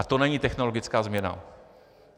A to není technologická změna?